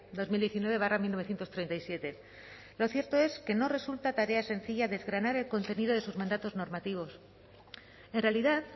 dos mil diecinueve barra mil novecientos treinta y siete lo cierto es que no resulta tarea sencilla desgranar el contenido de sus mandatos normativos en realidad